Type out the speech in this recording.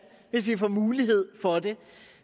hvis vi får mulighed for det